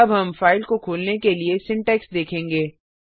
अब हम फाइल को खोलने के लिए सिंटैक्स देखेंगे